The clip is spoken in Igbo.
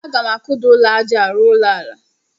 Aga m akụda ụlọ aja a rụọ ụlọ ala.